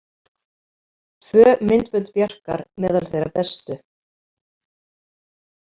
Tvö myndbönd Bjarkar meðal þeirra bestu